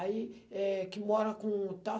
Aí, eh, que mora com tal.